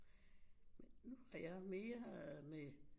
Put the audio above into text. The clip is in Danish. Men nu er jeg mere med